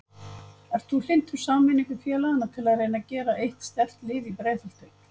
Ert þú hlynntur sameiningu félagana til að reyna að gera eitt sterkt lið í Breiðholti?